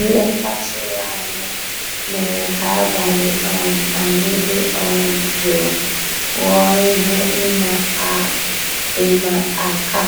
Nlétà tụ̀rụ̀ ànyá mérè ká àbàlí um ànyị́ dị́ um jụ́ụ́ ghọ́ọ́ íhé ị́mà àká